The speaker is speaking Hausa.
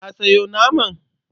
Ka sayo naman?